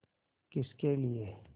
किसके लिए